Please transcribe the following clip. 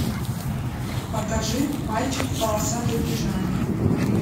покажи мальчик в полосатой пижаме